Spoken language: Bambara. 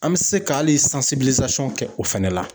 An bi se k'ali kɛ o fɛnɛ la.